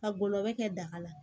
Ka gɔlɔbɛ kɛ daga la